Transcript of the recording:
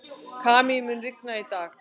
Kamí, mun rigna í dag?